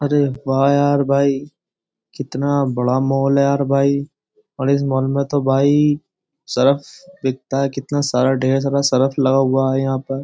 अरे वाह यार भाई कितना बड़ा मॉल है यार भाई और इस मॉल में तो भाई सर्फ बिकता है। कितना सारा ढेर सारा सर्फ लगा हुआ है यहां पर।